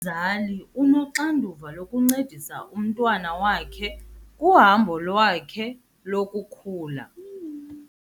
Umzali unoxanduva lokuncedisa umntwana wakhe kuhambo lwakhe lokukhula.